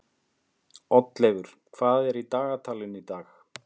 Oddleifur, hvað er í dagatalinu í dag?